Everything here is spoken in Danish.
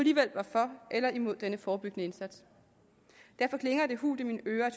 var for eller imod denne forebyggende indsats derfor klinger det hult i mine ører